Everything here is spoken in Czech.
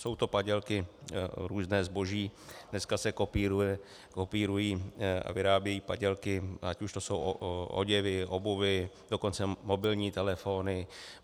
Jsou to padělky, různé zboží, dneska se kopírují a vyrábějí padělky, ať už jsou to oděvy, obuv, dokonce mobilní telefony.